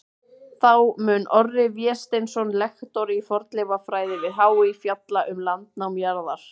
Þá mun Orri Vésteinsson, lektor í fornleifafræði við HÍ, fjalla um landnám jarðar.